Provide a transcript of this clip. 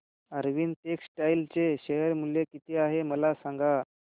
Arvind textile चे share मूल्य किती आहे मला सांगा